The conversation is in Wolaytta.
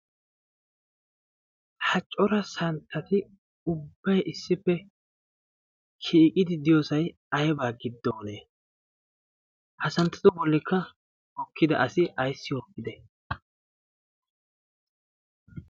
ha cora santtati ubbay issippe siiqidi diyoosai aybaa giddoonee ha santtatu bollikka okkida asi ayssi qoppite